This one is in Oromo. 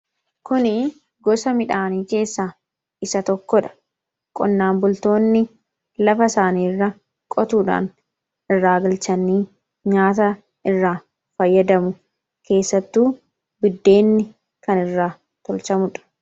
kuni gosa midhaanii keessaa isa tokkodha. qonnaan bultoonni lafa isaanii irra qotuudhaan irara galchanii nyaata irraa fayyadamu keessattu biddeenni kan irra tolchamuudha.